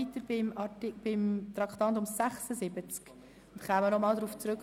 Sollte es ein Problem bei der Abstimmung gegeben hätte, kämen wir darauf zurück.